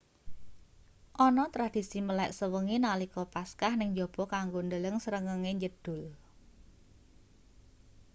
ana tradisi melek sewengi nalika paskah ning njaba kanggo ndeleng srengenge njedhul